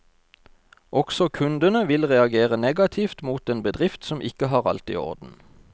Også kundene vil reagere negativt mot en bedrift som ikke har alt i orden.